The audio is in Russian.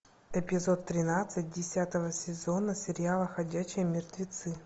эпизод тринадцать десятого сезона сериала ходячие мертвецы